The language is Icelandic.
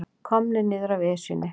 Komnir niður af Esjunni